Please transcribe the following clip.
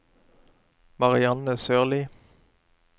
Marianne Sørlie